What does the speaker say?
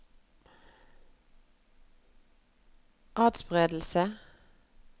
atspredelse